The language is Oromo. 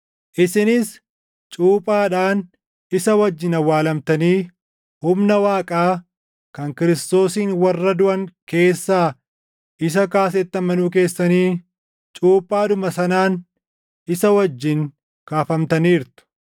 isinis cuuphaadhaan isa wajjin awwaalamtanii humna Waaqaa kan Kiristoosin warra duʼan keessaa isa kaasetti amanuu keessaniin cuuphaadhuma sanaan isa wajjin kaafamtaniirtu.